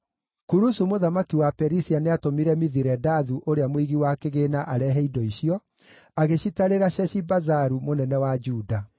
Kurusu mũthamaki wa Perisia nĩatũmire Mithiredathu ũrĩa mũigi wa kĩgĩĩna arehe indo icio, agĩcitarĩra Sheshibazaru mũnene wa Juda.